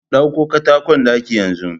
Ɗauko katakon ɗaki yanzu